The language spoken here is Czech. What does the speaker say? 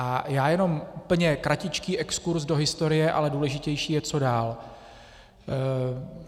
A já jenom úplně kratičký exkurz do historie, ale důležitější je, co dál.